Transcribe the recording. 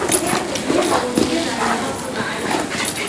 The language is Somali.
Heerka biyaha webiyada ayaa hoos u dhacay.